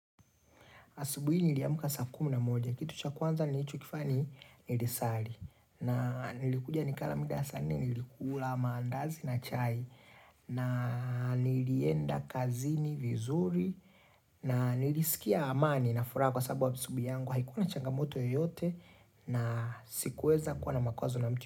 Asubuhi niliamka saa kumi na moja. Kitu cha kwanza nilichokifanya ni nilisari. Na nilikuja nikala mida ya saa nne, nilikula maandazi na chai. Na nilienda kazini vizuri. Na nilisikia amani na furaha kwasababu asubuhi yangu. Haikuwa na changamoto yoyote na sikuweza kuwa na makwazo na mtu.